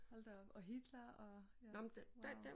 Hold da op og Hitler og ja wow